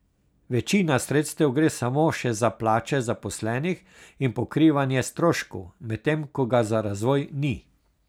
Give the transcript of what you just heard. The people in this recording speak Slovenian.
Večina sredstev gre samo še za plače zaposlenih in pokrivanje stroškov, medtem ko ga za razvoj ni.